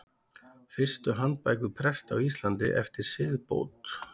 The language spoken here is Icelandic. Fyrstu handbækur presta á Íslandi eftir siðbót.